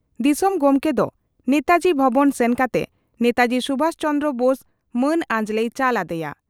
ᱫᱤᱥᱚᱢ ᱜᱚᱢᱠᱮ ᱫᱚ ᱱᱮᱛᱟᱡᱤ ᱵᱷᱚᱵᱚᱱ ᱥᱮᱱ ᱠᱟᱛᱮ ᱱᱮᱛᱟᱡᱤ ᱥᱩᱵᱷᱟᱥ ᱪᱚᱱᱫᱽᱨᱚ ᱵᱳᱥ ᱢᱟᱹᱱ ᱟᱸᱡᱞᱮᱭ ᱪᱟᱞ ᱟᱫᱮᱭᱟ ᱾